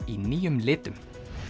í nýjum litum